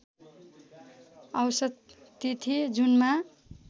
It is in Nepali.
औसत तिथि जुनमा